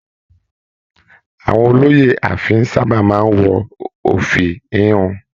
Àwọn olóyè ààfin sábà máa n wọ ofi híhun.